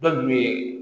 Dɔ kun bɛ